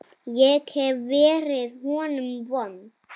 Ég hef verið honum vond.